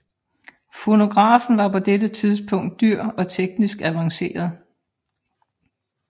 Fonografen var på dette tidspunkt dyr og teknisk avanceret